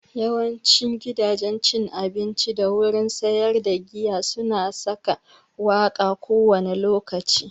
Yawancin gidajen cin abinci da wurin sayar da giya su na saka waƙa kowane lokaci